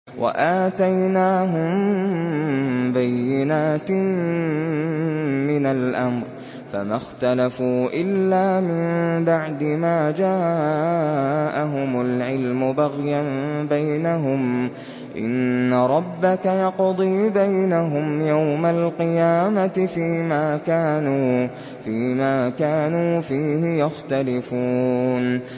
وَآتَيْنَاهُم بَيِّنَاتٍ مِّنَ الْأَمْرِ ۖ فَمَا اخْتَلَفُوا إِلَّا مِن بَعْدِ مَا جَاءَهُمُ الْعِلْمُ بَغْيًا بَيْنَهُمْ ۚ إِنَّ رَبَّكَ يَقْضِي بَيْنَهُمْ يَوْمَ الْقِيَامَةِ فِيمَا كَانُوا فِيهِ يَخْتَلِفُونَ